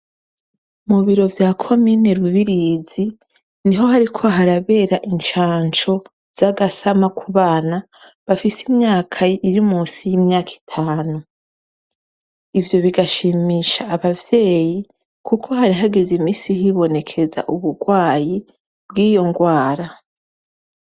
Mu biro vya komine Rubirizi, niho hariko harabera incanco ry'agasama ku bana bafise imyaka iri musi y'imwaka itanu. Ivyo bigashimiza abavyeyi kuko hari hageze imisi hibonekeza uburwayi bwiyo ndwara.